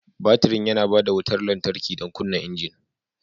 Batirin yana ba da wutar lantarki don kunna injin.